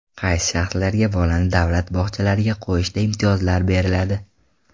Qaysi shaxslarga bolani davlat bog‘chalariga qo‘yishda imtiyozlar beriladi?.